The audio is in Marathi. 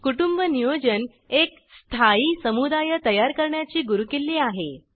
कुटुंब नियोजन एक स्थायी समुदाय तयार करण्याची गुरुकिल्ली आहे